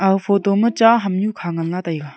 ag photo ma cha hamnyu kha ngan la taiga.